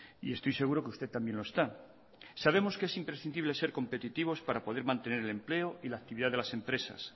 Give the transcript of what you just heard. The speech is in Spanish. y estoy seguro que usted también lo está sabemos que es imprescindible ser competitivos para poder mantener el empleo y la actividad de las empresas